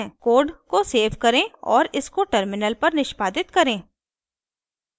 code को save करें और इसको टर्मिनल पर निष्पादित करें